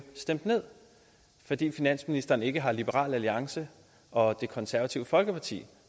stemt ned fordi finansministeren ikke har liberal alliance og det konservative folkeparti